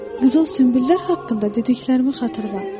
Qızıl sünbüllər haqqında dediklərimi xatırla.